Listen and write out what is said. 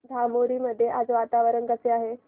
धामोरी मध्ये आज वातावरण कसे आहे